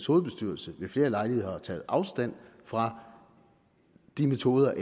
hovedbestyrelse ved flere lejligheder har taget afstand fra de metoder